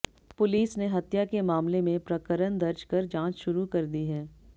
police ने हत्या के मामले में प्रकरण दर्ज कर जांच शुरू कर दी है